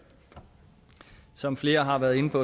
som flere har været inde på